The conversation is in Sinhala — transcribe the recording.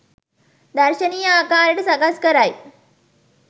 දර්ශනීය ආකාරයට සකස් කරයි.